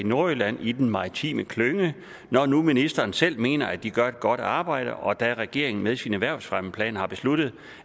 i nordjylland i den maritime klynge når nu ministeren selv mener at de gør et godt arbejde og da regeringen med sin erhvervsfremmeplan har besluttet